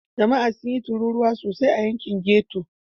Jama'a sun yi tururuwa sosai a yankin ghetto.